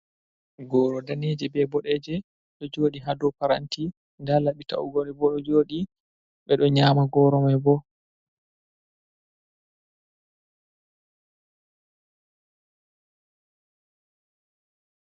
Goro daneje be bodeje ɗo joɗi ha dow paranti, nda laɓi ta’ugoɗe bo ɗo joɗi, ɓe ɗo nyama goro mai bo.